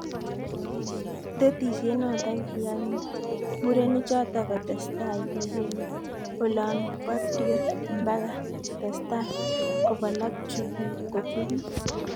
"Tetisiet noto kiyay murenik choto kotestai kibeli olon patriot Mbaka kotestai kobol ak kochupis.